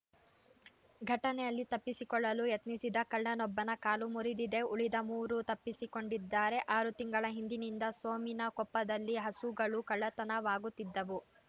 ಘಟನೆಯಲ್ಲಿ ತಪ್ಪಿಸಿಕೊಳ್ಳಲು ಯತ್ನಿಸಿದ ಕಳ್ಳನೊಬ್ಬನ ಕಾಲು ಮುರಿದಿದೆ ಉಳಿದ ಮೂವರು ತಪ್ಪಿಸಿಕೊಂಡಿದ್ದಾರೆ ಆರು ತಿಂಗಳ ಹಿಂದಿನಿಂದ ಸೋಮಿನಕೊಪ್ಪದಲ್ಲಿ ಹಸುಗಳು ಕಳ್ಳತನವಾಗುತ್ತಿದ್ದವು